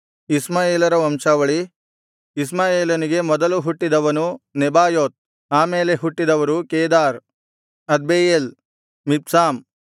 ಇಷ್ಮಾಯೇಲರ ವಂಶಾವಳಿ ಇಷ್ಮಾಯೇಲನಿಗೆ ಮೊದಲು ಹುಟ್ಟಿದವನು ನೆಬಾಯೋತ್ ಆ ಮೇಲೆ ಹುಟ್ಟಿದವರು ಕೇದಾರ್ ಅದ್ಬೆಯೇಲ್ ಮಿಬ್ಸಾಮ್